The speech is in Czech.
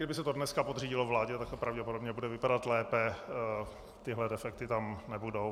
Kdyby se to dneska podřídilo vládě, tak to pravděpodobně bude vypadat lépe, tyhle defekty tam nebudou.